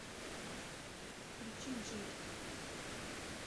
включи джид